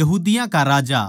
यहूदियाँ का राजा